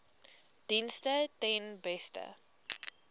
dienste ten beste